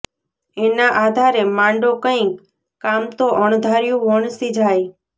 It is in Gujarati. એના આધારે માંડો કંઈ કામ તો અણધાર્યું વણસી જાય